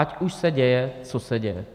Ať už se děje co se děje.